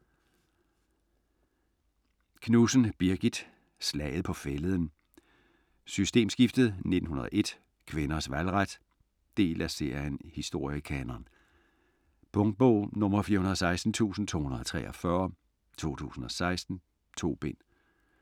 Knudsen, Birgit: Slaget på Fælleden, Systemskiftet 1901, Kvinders valgret Del af serien Historiekanon. Punktbog 416283 2016. 2 bind.